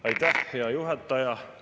Aitäh, hea juhataja!